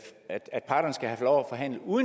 forhandle uden